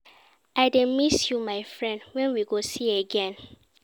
I dey miss you my friend, when we go see again?